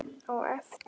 Á eftir?